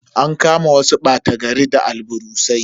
An kama wasu bata gari da alburusai.